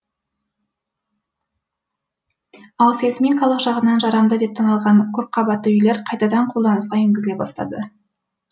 ал сейсмикалық жағынан жарамды деп танылған көпқабатты үйлер қайтадан қолданысқа енгізіле бастады